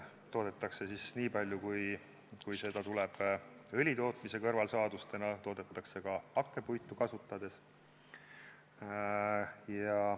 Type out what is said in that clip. Toodetakse nii palju, kui seda tuleb õlitootmise kõrvalsaadustena, toodetakse ka hakkpuitu kasutades.